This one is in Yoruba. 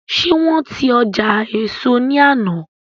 Ṣe wọn ti ọjà éso ní àná?